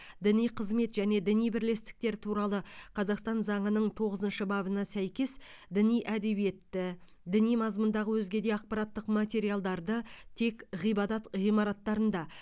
діни қызмет және діни бірлестіктер туралы қазақстан заңының тоғызыншы бабына сәйкес діни әдебиетті діни мазмұндағы өзге де ақпараттық материалдарды тек ғибадат ғимараттарында